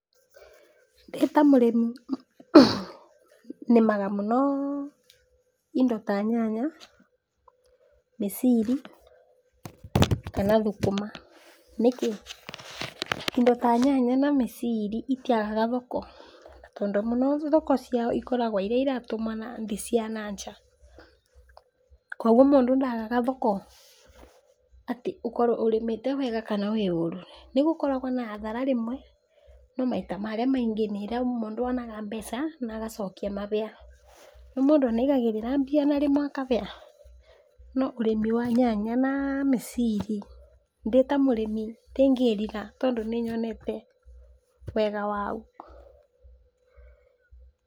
Ndĩtamũrĩmi nĩmaga mũno indo ta nyanya, mĩciri kana thũkũma, nĩkĩ? indo ta nyanya na mĩciri itĩagaga thoko tondũ mũno thoko ciao ikoragwa iria iratũmana indo cia nja kwoguo mũndũ ndagaga thoko atĩ ũkorwe ũrĩmĩtĩ wega kana ũrũ, nĩgũkoragwa na hhathara rĩmwe no maita marĩa maingĩ nĩ ĩrĩa mũndũ onaga mbeca na agaciokia mahĩa, nĩũĩ mũndũ nĩagagĩrĩra mbia rĩmwe akahĩa, no ũrĩmi wa nyanya na mĩciri ndĩtamũrĩmi ndĩngĩrira tondũ nĩnyonetewega wau.